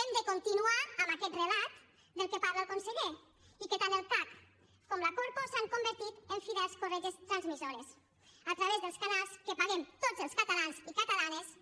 hem de continuar amb aquest relat del qual parla el conseller i de què tant el cac com la corpo s’han convertit en fidels corretges transmissores a través dels canals que paguem tots els catalans i catalanes